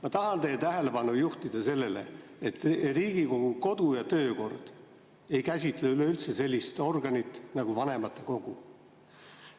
Ma tahan teie tähelepanu juhtida sellele, et Riigikogu kodu‑ ja töökord ei käsitle üleüldse sellist organit nagu vanematekogu.